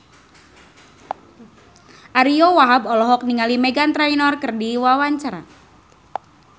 Ariyo Wahab olohok ningali Meghan Trainor keur diwawancara